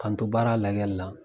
Ka n to baara lajɛli la